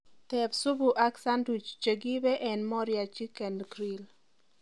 teeb supuak sandwich chegiibe en moriah chichen grill